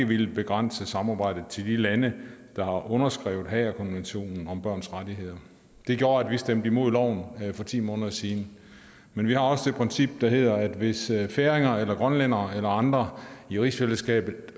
villet begrænse samarbejdet til de lande der har underskrevet haagerkonventionen om børns rettigheder det gjorde at vi stemte imod loven for ti måneder siden men vi har også et princip der hedder at hvis færinger grønlændere eller andre i rigsfællesskabet